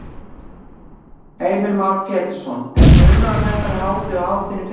Heimir Már Pétursson: Er munur á þessari hátíð og hátíðinni í fyrra?